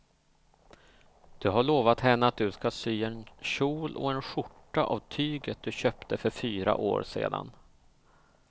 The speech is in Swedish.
Du har lovat henne att du ska sy en kjol och skjorta av tyget du köpte för fyra år sedan.